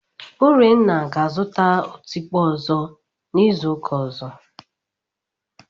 Urenna ga-azụta otikpo ọzọ n'izu ụka ọzọ.